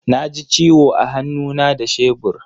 Na ji ciwo a hannu na da shebur.